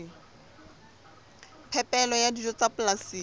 phepelo ya dijo tsa polasing